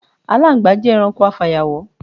Aláǹgbá jé̩ e̩ranko afàyàwó̩.